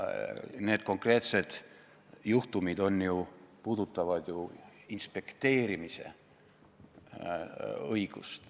Need konkreetsed juhtumid puudutavad ju inspekteerimise õigust.